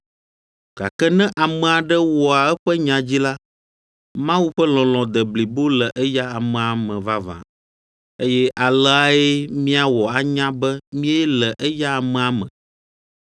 Gake ne ame aɖe wɔa eƒe nya dzi la, Mawu ƒe lɔlɔ̃ de blibo le eya amea me vavã. Eye aleae míawɔ anya be míele eya amea me: